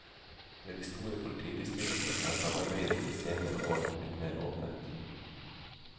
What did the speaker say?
Ved de store politidistriktene har samarbeidet i de senere år blitt mer åpent.